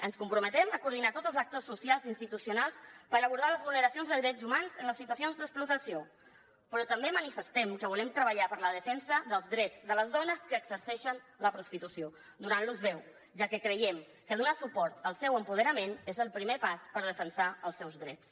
ens comprometem a coordinar tots els actors socials i institucionals per abordar les vulneracions de drets humans en les situacions d’explotació però també manifestem que volem treballar per la defensa dels drets de les dones que exerceixen la prostitució donant los veu ja que creiem que donar suport al seu apoderament és el primer pas per defensar els seus drets